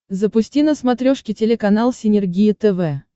запусти на смотрешке телеканал синергия тв